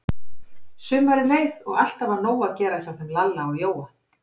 Sumarið leið og alltaf var nóg að gera hjá þeim Lalla og Jóa.